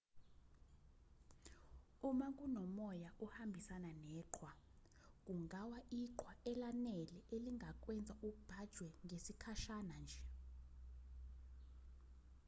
uma kunomoya ohambisana neqhwa kungawa iqhwa elanele elingakwenza ubhajwe ngesikhashana nje